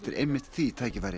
einmitt því tækifæri